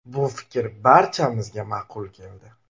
Bu fikr barchamizga ma’qul keldi.